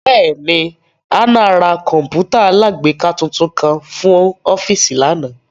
Bẹẹni, Hannah ra kọǹpútà alágbèéká tuntun kan fun ọfiisi lana